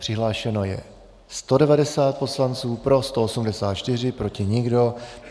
Přihlášeno je 190 poslanců, pro 184, proti nikdo.